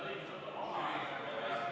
V a h e a e g